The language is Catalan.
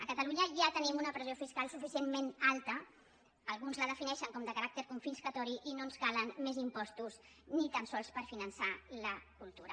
a catalunya ja tenim una pressió fiscal suficientment alta alguns la defineixen com de caràcter confiscador i no ens calen més impostos ni tan sols per finançar la cultura